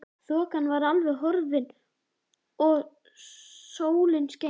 Þokan var horfin og sólin skein.